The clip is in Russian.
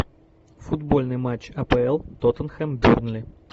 футбольный матч апл тоттенхэм бернли